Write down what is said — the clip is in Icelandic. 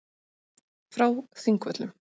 Frá Þingvöllum.